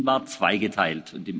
Ihr Anliegen war zweigeteilt.